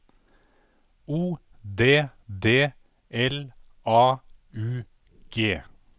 O D D L A U G